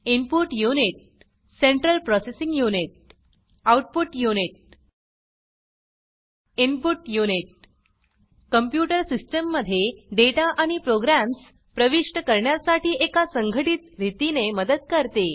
input unit central processing unit output unit input unit computer system मध्ये data आणि programs प्रविष्ट करण्यासाठी एका संघटित रीतीने मदत करते